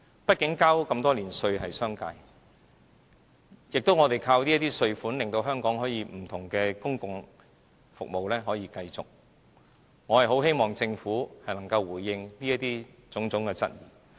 畢竟商界繳交了這麼多年的稅款，而我們是依靠這些稅款令香港不同的公共服務可以持續運作。我很希望政府能夠回應有關的種種質疑。